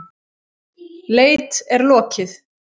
Leit er lokið.